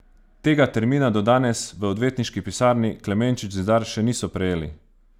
Tega termina do danes v odvetniški pisarni Klemenčič Zidar še niso prejeli.